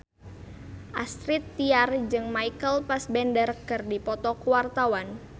Astrid Tiar jeung Michael Fassbender keur dipoto ku wartawan